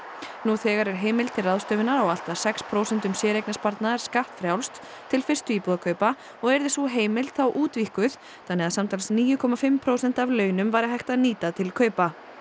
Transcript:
nú þegar er heimild til ráðstöfunar á allt að sex prósentum séreignarsparnaðar skattfrjálst til fyrstu íbúðakaupa og yrði sú heimild þá útvíkkuð þannig að samtals níu komma fimm prósent af launum væri hægt að nýta til kaupa